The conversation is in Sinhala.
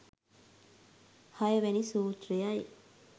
හයවැනි සූත්‍රයයි.